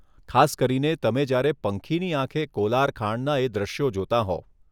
ખાસ કરીને તમે જયારે પંખીની આંખે કોલાર ખાણના એ દૃશ્યો જોતાં હોવ.